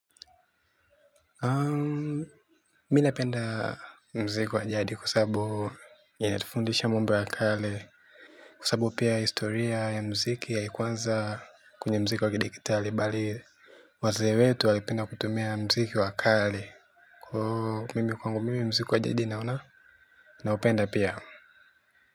Mimi napenda mziki wajadi kwa sababu inatufundisha mambo ya kale kwa sababu pia historia ya mziki haikwanza kwenye mziki wa kidigitali bali wazee wetu walipenda kutumia mziki wa kale mimi kwangu mziki wajadi naona kwamba naupenda pia.